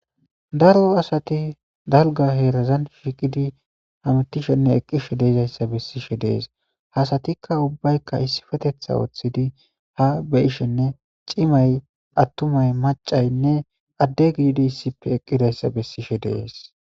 daro asati dalga heerazan shiqidi hamitishenne eqqishe deizayssa bessishe dees hasatikka ubbaykka issifetetha woththidi ha beyishenne cimay attumay macaynne adde giidi issippe eqqidayssa bessishe deees